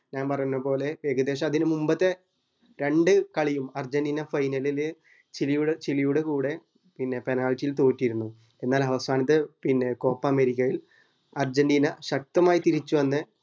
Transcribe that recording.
ഞാൻ പറന്നപോലെ ഏകദേശം അതിന് മുമ്പത്തെ രണ്ട് കളിയും അർജന്റീന final ചിരിയുടെ ചിലിയുടെ കൂടെ പിന്നെ penalty യിൽ തോറ്റിരുന്നു എന്നാൽ അവസാനത്തെ ഏർ copa അമേരിക്ക അർജന്റീന ശക്തമായി തിരിച്ച് വന്ന